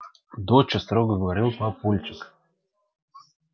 доча строго говорит папульчик